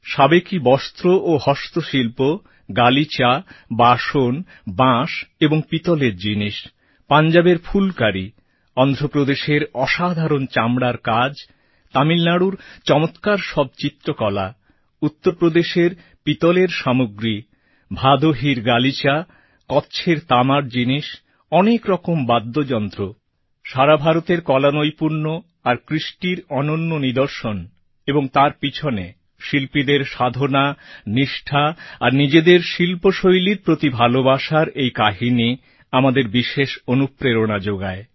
সাবেকী বস্ত্র ও হস্তশিল্প গালিচা বাসন বাঁশ এবং পিতলের জিনিস পাঞ্জাবের ফুলকারি অন্ধ্রপ্রদেশের অসাধারণ চামড়ার কাজ তামিলনাড়ুর চমৎকার সব চিত্রকলা উত্তরপ্রদেশের পিতলের সামগ্রী ভাদোহীর গালিচা কচ্ছের তামার জিনিস অনেক রকম বাদ্যযন্ত্র সারা ভারতের কলানৈপুণ্য আর কৃষ্টির অনন্য নিদর্শন এবং তার পিছনে শিল্পীদের সাধনা নিষ্ঠা আর নিজেদের শিল্পশৈলীর প্রতি ভালোবাসার এই কাহিনি আমাদের বিশেষ অনুপ্রেরণা জোগায়